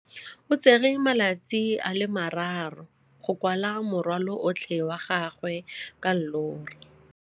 O tsere malatsi a le marraro go rwala morwalo otlhe wa gagwe ka llori.